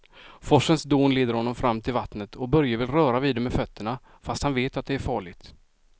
Forsens dån leder honom fram till vattnet och Börje vill röra vid det med fötterna, fast han vet att det är farligt.